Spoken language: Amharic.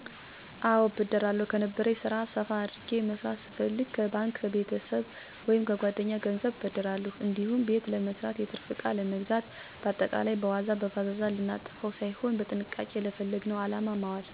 አወ እበደራለሁ, ከነበረኝ ስራ ሰፋ አድርጌ መስራት ስፋልግ ከባንክ፣ ከቤተሰብ ወይምከጓደኛ ገንዘብን እበደራለሁ እንዲሁም ቤተ ለመስራት፣ የትርፍ እቃ ለመግዛት በአጠቃላይ, በዋዛ በፈዛዛ ልናጠፈዉ ሳይሆን በጥንቃቄ ለፈለግነዉ አላማ ማዋል።